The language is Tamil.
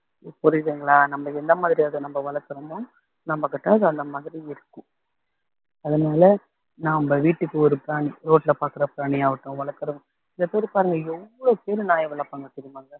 புரியுதுங்களா நம்ம எந்த மாதிரி அத நம்ம வளர்த்திறோமோ நம்மகிட்ட அது அந்த மாதிரி இருக்கும் அதனால நாம வீட்டுக்கு ஒரு பிராணி road ல பார்க்கிற பிராணியாகட்டும் வளக்குறது சில பேர் பாருங்க எவ்வளவு பேரு நாய் வளர்ப்பாங்க தெரியுமாங்க